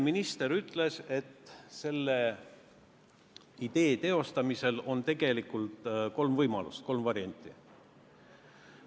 Minister ütles eile, et selle idee teostamiseks on tegelikult kolm võimalust, kolm varianti.